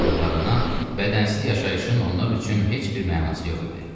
olduqlarından bədənsiz yaşayışın onlar üçün heç bir mənası yox idi.